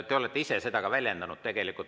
Te olete ise ka seda väljendanud.